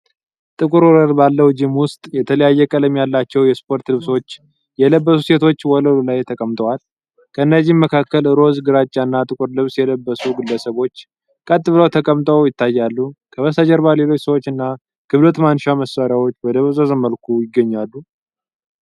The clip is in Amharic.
ጥቁር ወለል ባለው ጂም ውስጥ የተለያየ ቀለም ያላቸው የስፖርት ልብሶች የለበሱ ሴቶች ወለሉ ላይ ተቀምጠዋል። ከእነዚህምመካከል ሮዝ፣ ግራጫና ጥቁር ልብስ የለበሱ ግለሰቦች ቀጥብለው ተቀምጠው ይታያል። ከበስተጀርባ ሌሎች ሰዎች እና ክብደት ማንሻ መሳሪያዎች በደበዘዘ መልኩ ይገኛሉ።